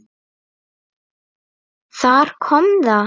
Þar kom það.